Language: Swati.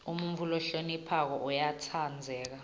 umuntfu lohloniphako uyatsandzeka